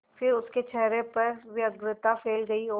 फिर उसके चेहरे पर व्यग्रता फैल गई और